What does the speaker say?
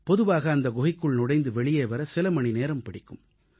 பொதுவாக அந்த குகைக்குள் நுழைந்து வெளியே வர சில மணிநேரம் பிடிக்கும்